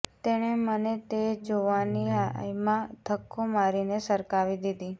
તેણે મને તે જોવાની લહાયમાં ધક્કો મારીને સરકાવી દીધી